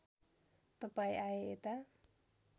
तपाईँ आए यता